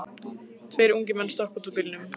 Tveir ungir menn stökkva út úr bílnum.